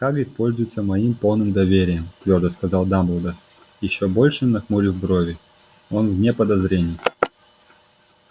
хагрид пользуется моим полным доверием твёрдо сказал дамблдор ещё больше нахмурив брови он вне подозрений